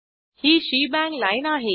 ही shebang line आहे